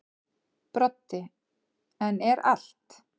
Broddi: En er allt.